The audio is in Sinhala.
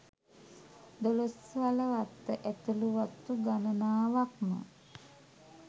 දොළොස්වල වත්ත ඇතුලූ වතු ගණනාවක්ම